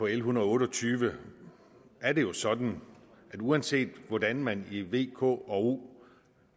en hundrede og otte og tyve er det jo sådan at uanset hvordan man i v k og o